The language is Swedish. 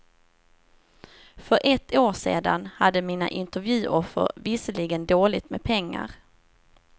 För ett år sedan hade mina intervjuoffer visserligen dåligt med pengar.